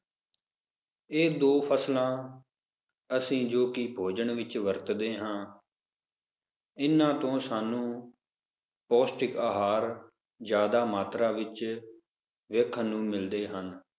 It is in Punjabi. ਇਹ ਦੋ ਫਸਲਾਂ ਅਸੀਂ ਜੋ ਕਿ ਭੋਜਨ ਵਿਚ ਵਰਤਦੇ ਹਾਂ ਇਹਨਾਂ ਤੋਂ ਸਾਨੂੰ ਪੌਸ਼ਟਿਕ ਆਹਾਰ ਜ਼ਯਾਦਾ ਮਾਤਰਾ ਵਿਚ ਵੇਖਣ ਨੂੰ ਮਿਲਦੇ ਹਨ